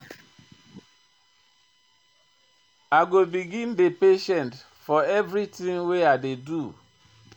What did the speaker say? I go begin dey patient for everytin wey I dey do.